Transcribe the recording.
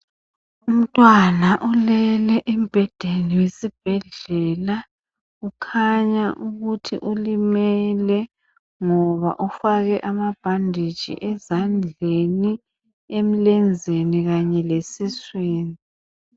Umntwana ulele embhedeni wesibhedlela. Kukhanya ukuthi ulimele ngoba ufake amabhanditshi ezandleni, emlenzeni kanye lesiswini.